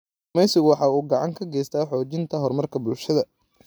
Kalluumaysigu waxa uu gacan ka geystaa xoojinta horumarka bulshada.